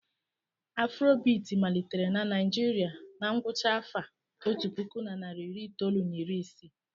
Afrobiti malitere na Naijiria na ngwụcha afa otu puku na nari iri itoolu na iri isii.